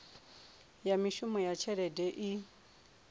ya mishumo na tshelede i